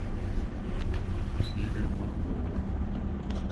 игорь махмудов